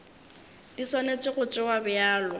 di swanetše go tšewa bjalo